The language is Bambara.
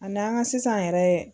Ani an ka sisan yɛrɛ